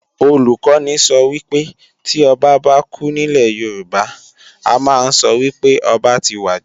Olùkọ́ni sọ wípé, tí Ọba bá kú nílè Yorùbá, a ma ń sọ wípé ọba ti wàjà